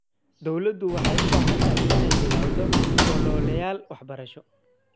Dawladdu waxay u baahan tahay inay bilowdo ololeyaal waxbarasho.